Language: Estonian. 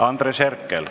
Andres Herkel.